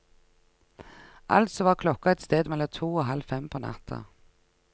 Altså var klokka et sted mellom to og halv fem på natta.